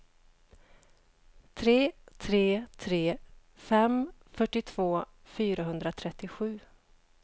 tre tre tre fem fyrtiotvå fyrahundratrettiosju